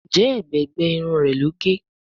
Njé ègbé gbé Irun rẹ ló gé?